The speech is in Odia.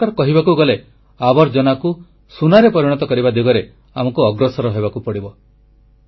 ଏକ ପ୍ରକାର କହିବାକୁ ଗଲେ ଆବର୍ଜନାକୁ ସୁନାରେ ପରିଣତ କରିବା ଦିଗରେ ଆମକୁ ଅଗ୍ରସର ହେବାକୁ ପଡ଼ିବ